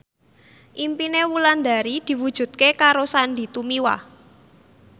impine Wulandari diwujudke karo Sandy Tumiwa